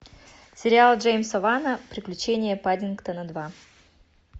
сериал джеймса вана приключения паддингтона два